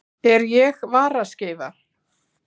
Er ég varaskeifa?